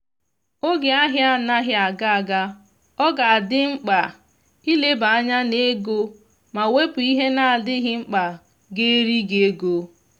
oge ahia anaghị aga aga ọ ga adị mkpa ileba anya n'ego ma wepu ihe na adịghị mkpa ga eri gị ego